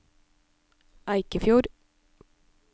Eikefjord